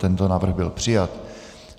Tento návrh byl přijat.